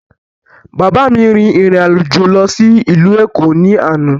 Bàbá mi rin ìrìn àjò lọ sí ìlú Èkó ní àná.